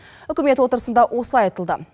үкімет отырысында осылай айтылды